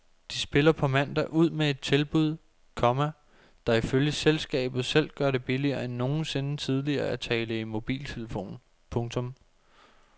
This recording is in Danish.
De spiller på mandag ud med et tilbud, komma der ifølge selskabet selv gør det billigere end nogensinde tidligere at tale i mobiltelefon. punktum